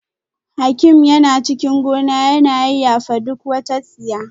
Hakim yana cikin gona yana yayyafa duk wata tsiya